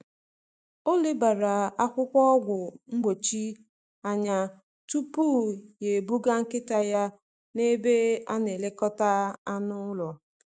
um Ọ lebara um akwụkwọ ọgwụ mgbochi anya tupu ya ebuga nkịta ya n’ebe a na-elekọta anụ ụlọ.